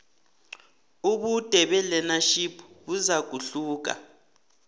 ubude belearnership buzakuhluka